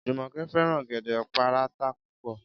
Jùmò̩ké̩ fé̩ràn ò̩gè̩dé̩ páráǹtà púpò̩